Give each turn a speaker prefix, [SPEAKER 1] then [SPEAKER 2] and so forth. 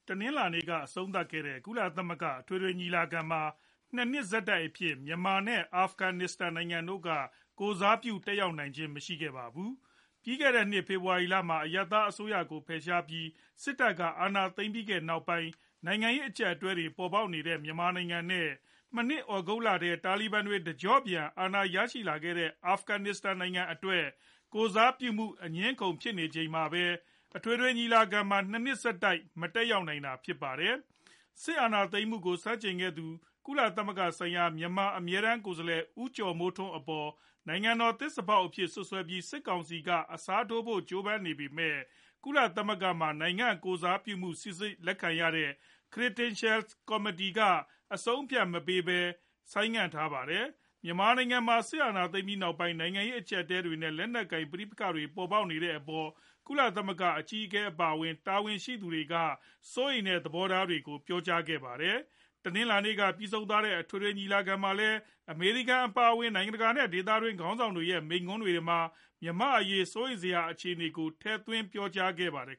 [SPEAKER 1] တနင်္လာနေ့က အဆုံးသတ်ခဲ့တဲ့ ကုလသမဂ္ဂ အထွေထွေ ညီလာခံမှာ ၂ နှစ် ဆက်တိုက်အဖြစ် မြန်မာနဲ့ အာဖဂနစ္စတန်နိုင်ငံတို့က ကိုယ်စားပြု တက်ရောက်တာ မရှိခဲ့ကြပါတယ်။ ပြီးခဲ့တဲ့နှစ် ဖေဖော်ဝါရီလက အရပ်သားအစိုးရကို ဖယ်ရှားပြီး စစ်တပ် အာဏာသိမ်းခဲ့တဲ့နောက်ပိုင်း နိုင်ငံရေး အကျပ်အတည်းတွေ ပေါ်ပေါက်နေတဲ့ မြန်မာနိုင်ငံနဲ့ သြဂုတ်လထဲ တာလီဘန်တွေ တကျော့ပြန် အာဏာရခဲ့တဲ့ အာဖဂန်နစ္စတန် နိုင်ငံအတွက် ကိုယ်စားပြုမှု အငြင်းအခုံဖြစ်နေချိန်မှာပဲ အထွေထွေညီလာခံမှာ ၂ နှစ်ဆက်တိုက် မတက်နိုင်ပဲ ဖြစ်နေတာပါ။ စစ်အာဏာသိမ်းမှုကို ဆန့်ကျင်ခဲ့သူ ကုလသမဂ္ဂဆိုင်ရာ မြန်မာအမြဲတမ်း ကိုယ်စားလှယ် ဦးကျော်မိုးထွန်း အပေါ် နိုင်ငံတော် သစ္စာဖောက်အဖြစ် စွပ်စွဲပြီး စစ်ကောင်စီက အစားထိုးဖို့ ကြိုးပမ်းနေပေမဲ့ ကုလသမဂ္ဂမှာ နိုင်ငံကိုယ်စားပြုမှုကို စီစစ်လက်ခံရတဲ့ (Credentials Committee) က အဆုံးအဖြတ်မပေးဘဲ ဆိုင်းငံ့ထားပါတယ်။ မြန်မာနိုင်ငံမှာ စစ်အာဏာသိမ်းပြီးနောက်ပိုင်း နိုင်ငံရေး အကျပ်အတည်းတွေနဲ့ လက်နက်ကိုင် ပဋိပက္ခတွေပေါ်ပေါက်နေတဲ့အပေါ် ကုလသမဂ္ဂ အကြီးအကဲ အပါအဝင် တာဝန်ရှိသူတွေက စိုးရိမ်တဲ့ သဘောထားတွေကိုလည်း ပြောဆိုနေကြတာပါ။ တနင်္လာနေ့က ပြီးဆုံးသွားတဲ့ အထွေထွေညီလာခံမှာလည်း အမေရိကန် အပါအဝင် နိုင်ငံတကာနဲ့ ဒေသတွင်းက ခေါင်းဆောင်တွေရဲ့ မိန့်ခွန်းတွေမှာ မြန်မာ့အရေး စိုးရိမ်စရာ အခြေအနေတွေကို ထည့်သွင်းပြောဆိုခဲ့ကြပါတယ်